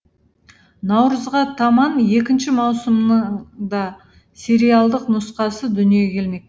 наурызға таман екінші маусымның да сериалдық нұсқасы дүниеге келмек